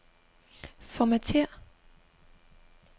Formatér.